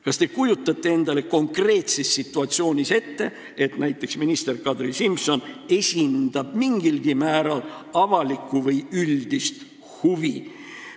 Kas te kujutate endale konkreetses situatsioonis ette, et näiteks minister Kadri Simson esindab mingilgi määral avalikke või üldisi huve?